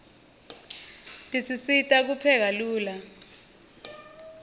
tisisita kupheka lula